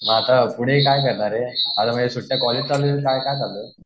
आता पुढे काय करणार आहे? आता चालू आहे काय चालू आहे?